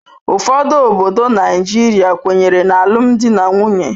Ụfọdụ obodo Naijiria kwenyere na alụmdi na nwunye.